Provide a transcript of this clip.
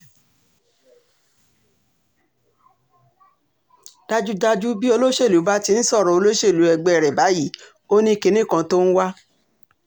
dájúdájú bí olóṣèlú bá ti ń sọ̀rọ̀ olóṣèlú ẹgbẹ́ rẹ̀ báyìí ó ní kinní kan tó ń wá